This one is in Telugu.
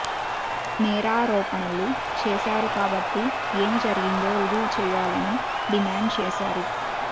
నేరారోపణలు చేశారు కాబట్టి ఏమి జరిగిందో రుజువు చేయాలిని డిమాండ్ చేశారు